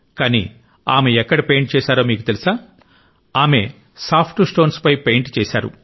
కానీ ఆమె ఎక్కడ పెయింట్ చేశారో మీకు తెలుసా ఆమె సాఫ్ట్ స్టోన్స్ పై పెయింట్ చేశారు